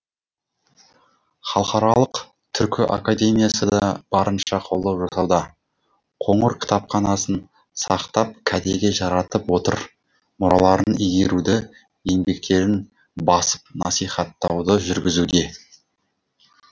халықаралық түркі академиясы да барынша қолдау жасауда қоңыр кітапханасын сақтап кәдеге жаратып отыр мұраларын игеруді еңбектерін басып насихаттауды жүргізуде